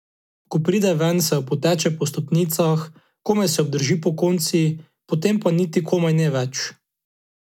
Ko pride ven, se opoteče po stopnicah, komaj se obdrži pokonci, potem pa niti komaj ne več.